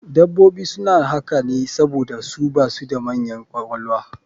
Dabbobi suna haka ne saboda su basu da manyan ƙwaƙwalwa